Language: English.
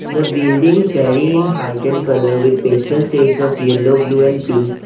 The buildings vary in height and colour with pastel shades of yellow blue and pink.